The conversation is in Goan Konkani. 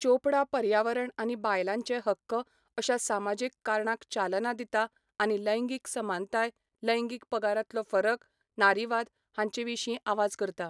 चोपडा पर्यावरण आनी बायलांचे हक्क अशा समाजीक कारणांक चालना दिता आनी लैंगिक समानताय, लैंगिक पगारांतलो फरक, नारीवाद हांचे विशीं आवाज करता.